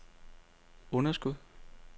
underskud